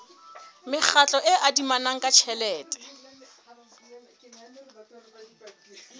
mekgatlo e adimanang ka tjhelete